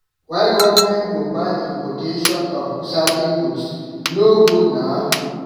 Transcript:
Why government go ban importation of certain goods. E no good na.